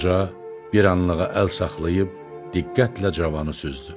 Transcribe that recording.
Qoca bir anlığa əl saxlayıb, diqqətlə cavanı süzdü.